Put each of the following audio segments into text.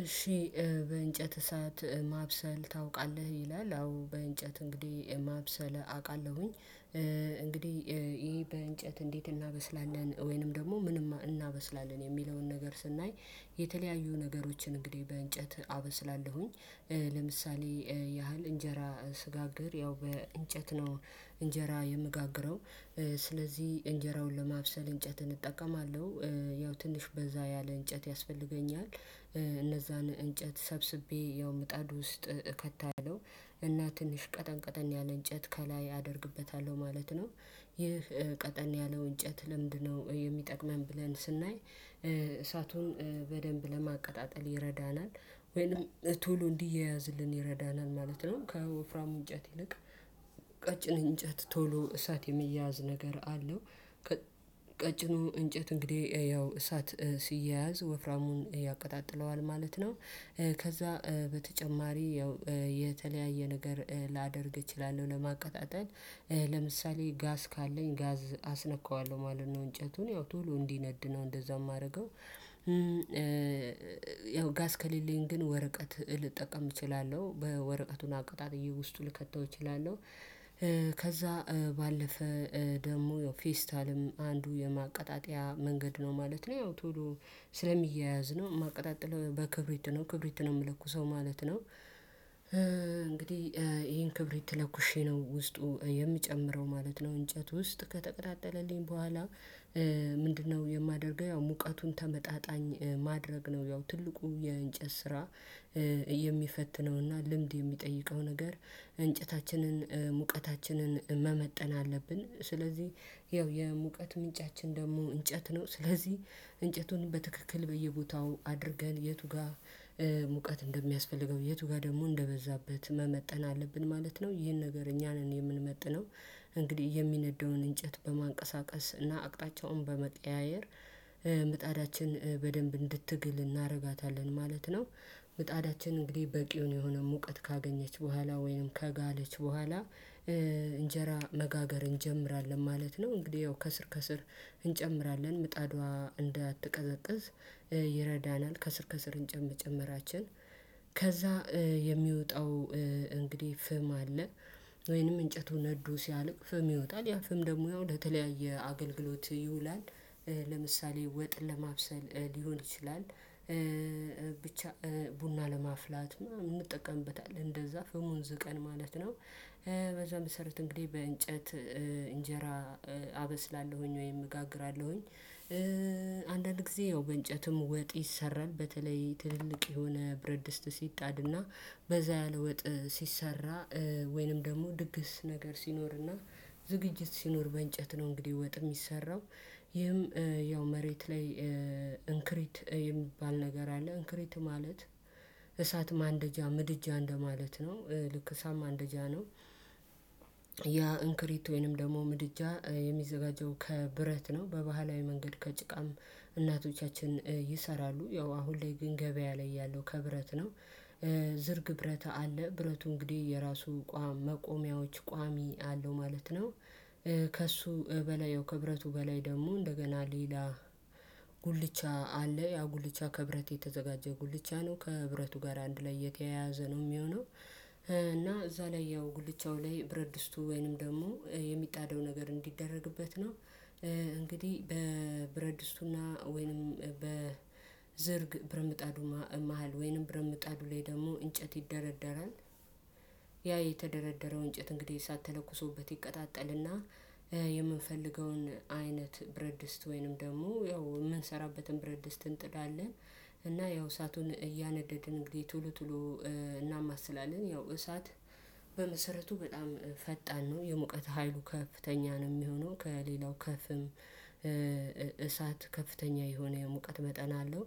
እሺ። በእንጨት እሳት ማብሰል ታውቃለህ ይላል አዎ በእንጨት እንግዲህ ከ አውቃለሁኝ እንግዲህ ይሄ በእንጨት እንዴት እናበስላለን ወይንም ደግሞ ምንም እናበስላለን የሚለውን ነገር ስናይ። የተለያዩ ነገሮችን እንግዲህ በእንጨት አበስላለሁኝ። ለምሳሌ ያህል እንጀራ ስጋግር ያው በእንጨት ነው እንጀራ የምጋግረው። ስለዚህ እንጀራውን ለማብሰል እንጨትን እጠቀማለሁ። ያው ትንሽ በዛ ያለ እንጨት ያስፈልገኛል። እነዛን እንጨት ሰብስቤ ያው ምጣድ ውስጥ እከታለሁ። እና ትንሽ ቀጠን ቀጠን ያለ እንጨት ከላይ አደርግበታለሁ ማለት ነው። ይህ ቀጠን ያለው እንጨት ለምድ ነው የሚጠቅመን ብለን ስናይ። በደንብ ለማቀጣጠል ይረዳናል። ወይንም ቶሎ እንዲያያዝልን ይረዳናል ማለት ነው። ከወፍራም እንጨት ይልቅ ቀጭን እንጨት ቶሎ እሳት የሚያዝ ነገር አለው። እንጨት እንግዲህ ያው እሳት ሲያያዝ ወፍራሙን ያቀጣጥለዋል ማለት ነው። ከዛ በተጨማሪ ያው የተለያየ ነገር ላደርግ እችላለሁ ለማቀጣጠል ለምሳሌ ጋዝ ካለኝ ጋዝ አስነካዋለሁ ማለት ነው እንጨቱን ያው ቶሎ እንዲነድ ነው እንደዛ የማደርገው። ያው ጋስ ከሊሊን ግን ወረቀት ልጠቀም እችላለሁ በወረቀቱና አቀጣጥዬ ውስጡ ልከተው እችላለሁ። ከዛ ባለፈ ደግሞ ፌስታልም አንዱ የማቀጣጠያ መንገድ ነው ማለት ነው። ያው ቶሎ ስለሚያያዝ ነው ማቀጣጠል በክብሪት ነው ክብሪት ነው የምለኩሰው ማለት ነው። እንግዲህ ይሄን ክብሪት ለኩሼ ነው ውስጡ የምጨምረው ማለት ነው። እንጨት ውስጥ ከተቀጣጠለልኝ በኋላ። ምንድነው የማደርገው? ያው ሙቀቱን ተመጣጣኝ ማድረግ ነው ያው ትልቁ የእንጨት ስራ። የሚፈትነውና ልምድ የሚጠይቀው ነገር እንጨታችንን ሙቀታችንን መመጠን አለብን። ስለዚህ ይኸው የሙቀት ምንጫችን ደግሞ እንጨት ነው። ስለዚህ እንጨቱን በትክክል በየቦታው አድርገን የቱ ጋር እንደሚያስፈልገው የቱ ጋር ደግሞ እንደበዛበት መመጠን አለብን ማለት ነው። ይህን ነገር እኛ ነን የምንመጥነው እንግዲህ የሚነደውን እንጨት በማንቀሳቀስ እና አቅጣጫውን በመቀያየር ምጣዳችን በደንብ እንድትግል እናደርጋታለን ማለት ነው። ምጣዳችን እንግዲህ በቂውን የሆነ ሙቀት ካገኘች በኋላ ወይንም ከጋለች በኋላ። እንጀራ መጋገር እንጀምራለን ማለት ነው። እንግዲህ ያው ከስር ከስር እንጨምራለን ምጣዷ እንዳትቀዘቅዝ ይረዳናል። ከስር ከስር እንጨምር ጨመራችን ከዛ የሚወጣው እንግዲህ ፍም አለ። ወይንም እንጨቱ ነዶ ሲያልቅ ፍም ይወጣል ያ ፍም ደግሞ ያው ለተለያየ አገልግሎት ይውላል። ለምሳሌ ወጥ ለማብሰል ሊሆን ይችላል። ብቻ ቡና ለማፍላት እንጠቀምበታለን እንደዛ ፍሙን ዝቀን ማለት ነው። በዛ መሰረት እንግዲህ በእንጨት እንጀራ አበስላለሁኝ ወይም እጋግራለሁኝ። አንዳንድ ጊዜ ያው በእንጨትም ወጥ ይሰራል በተለይ ትልልቅ የሆነ ብረት ድስት ሲጣድና በዛ ያለወጥ ሲሰራ ወይንም ደግሞ ድግስ ነገር ሲኖርና ዝግጅት ሲኖር በእንጨት ነው እንግዲህ ወጥ የሚሰራው። ይህም ያው መሬት ላይ እንክሪት የሚባል ነገር አለ እንክሪት ማለት እሳት ማንደጃ ምድጃ እንደማለት ነው። ልክ እሳት ማንደጃ ነው። ያ እንክሪት ወይንም ደግሞ ምድጃ የሚዘጋጀው ከብረት ነው በባህላዊ መንገድ ከጭቃም እናቶቻችን ይሰራሉ ያው አሁን ላይ ግን ገበያ ላይ ያለው ከብረት ነው። ዝርግ ብረት አለ ብረቱ እንግዲህ የራሱ መቆሚያዎች ቋሚ አለው ማለት ነው። ከእሱ በላይ ክብረቱ በላይ ደግሞ እንደገና ሌላ ጉልቻ አለ ያ ጉልቻ ከብረት የተዘጋጀ ጉልቻ ነው ከብረቱ ጋር አንድ ላይ የተያያዘ ነው የሚሆነው። እና እዛ ላይ ያው ጉልቻው ላይ ብረት ድስቱ ወይንም ደግሞ የሚጣደው ነገር እንዲደረግበት ነው። እንግዲህ በብረድስቱና ወይንም በዝርግ ብረምጣዱ መሃል ወይንም ብረምጣዱ ላይ ደግሞ እንጨት ይደረደራል። ያ የተደረደረው እንጨት እንግዲህ ሳትለኩሶበት ይቀጣጠልና። የምንፈልገውን አይነት ብረድስት ወይንም ደግሞ ያው የምንሰራበትን ብረድስት እጥዳለን። እና ያው እሳቱን እያነደድን እንግዲህ ቶሎ ቶሎ እናማስላለን። ያው እሳት በመሰረቱ በጣም ፈጣን ነው የሙቀት ሀይሉ ከፍተኛ ነው የሚሆነው ከሌላው ከፍም። እሳት ከፍተኛ የሆነ የሙቀት መጠን አለው።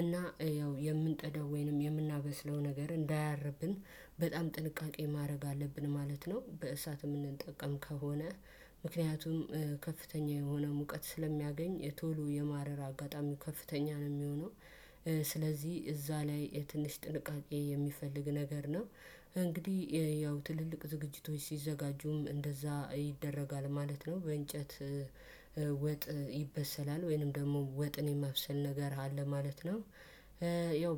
እና ያው የምንጥደው ወይንም የምናበስለው ነገር እንዳያርብን በጣም ጥንቃቄ ማድረግ አለብን ማለት ነው። በእሳት የምንጠቀም ከሆነ ምክንያቱም ከፍተኛ የሆነ ሙቀት ስለሚያገኝ ቶሎ የማረር አጋጣሚ ከፍተኛ ነው የሚሆነው። ስለዚህ እዛ ላይ ትንሽ ጥንቃቄ የሚፈልግ ነገር ነው። እንግዲህ ያው ትልልቅ ዝግጅቶች ሲዘጋጁም እንደዛ ይደረጋል ማለት ነው። በእንጨት ወጥ ይበሰላል ወይንም ደግሞ ወጥን የማብሰል ነገር አለ ማለት ነው። ያው